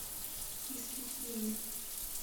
искитиме